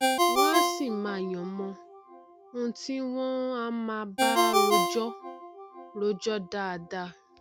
wọn a sì máà yan mọn ohun tí wọn á máa báa rojọ rojọ dáadáa